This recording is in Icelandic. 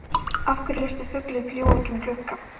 Af hverju léstu fuglinn fljúga út um gluggann?